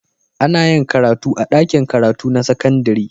Ana yin karatu a dakin karatu na sakandari